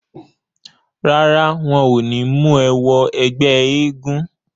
Rárá, wọn ò ní mú ẹ wọn ẹgbẹ́ eégún.